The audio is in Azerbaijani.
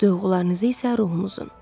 Duyğularınızı isə ruhunuzun.